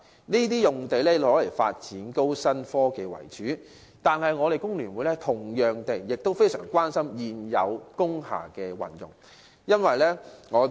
這些土地均用作發展高新科技為主，但工聯會同樣非常關注現有工廈的運用。